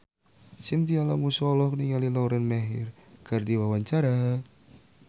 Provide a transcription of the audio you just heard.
Chintya Lamusu olohok ningali Lauren Maher keur diwawancara